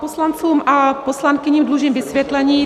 Poslancům a poslankyním dlužím vysvětlení.